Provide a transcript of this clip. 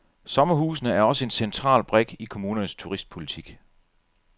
Sommerhusene er også en central brik i kommunernes turistpolitik.